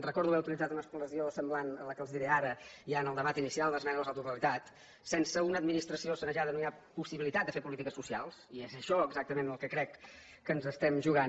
recordo haver utilitzat una expressió semblant a la que els diré ara ja en el debat inicial d’esmenes a la totalitat sense una administració sanejada no hi ha possibilitat de fer polítiques socials i és això exactament el que crec que ens estem jugant